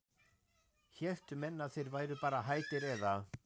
héldu menn að þeir væru bara hættir eða?